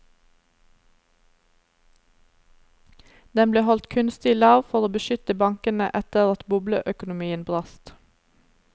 Den ble holdt kunstig lav for å beskytte bankene etter at bobleøkonomien brast.